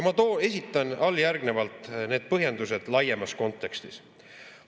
Ma esitan alljärgnevalt põhjendused laiemas kontekstis.